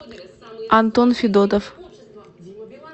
антон федотов